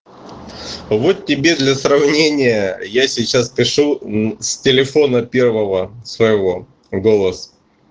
вот тебе для сравнения я сейчас пишу с телефона первого своего голос